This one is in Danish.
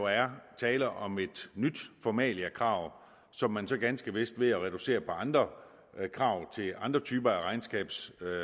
er tale om et nyt formaliakrav som man så ganske vist ved at reducere på andre krav til andre typer af regnskabsaktivitet